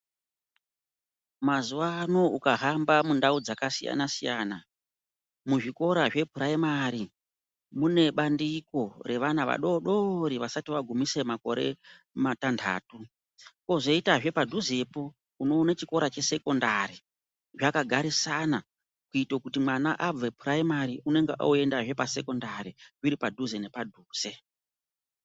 Mazuwa ano ukahamba mundau dzakasiyana-siyana, muzvikora zvepuraimari mune bandiko revana vadodori vasati vagumise makore matandatu kwozoitazve padhuzepo unoone chikora chesekondari zvakagarisana kuita kuti mwana abve puraimari unonga oendazve pasekondari zviri padhuze nepadhuze.